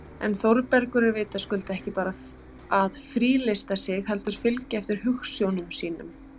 En Þórbergur er vitaskuld ekki bara að frílysta sig heldur fylgja eftir hugsjónum sínum